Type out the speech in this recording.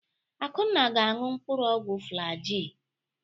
Akunna ga-aṅụ mkpụrụ ọgwụ Flaji.